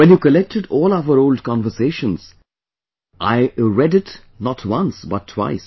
When you collected all our old conversations, I read it not once but twice